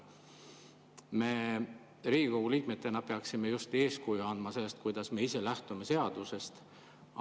Meie Riigikogu liikmetena peaksime eeskuju andma sellega, kuidas me ise lähtume seadusest.